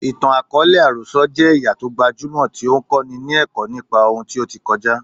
Ìtàn àkọọ́lẹ̀ àròsọ jẹ́ ẹ̀yà tó gbajúmọ̀ tí ó ń kọ́ni ní ẹ̀kọ́ nípa ohun tí ó ti kọjá.